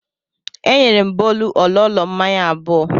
E nyere m Bolu ololo mmanya abụọ.